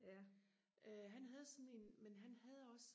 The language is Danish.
øh han havde sådan en men han havde også